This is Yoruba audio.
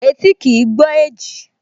Etí kìí gbọ́ èjì